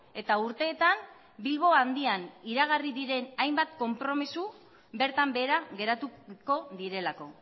eta urteetan bilbo handian iragarri diren hainbat konpromiso bertan behera geratuko direlako